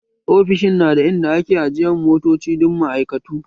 Ofishin na da in da ake ajiyan motoci dan ma'aikatu